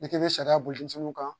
N'i bɛ sariya boli fɛnw kan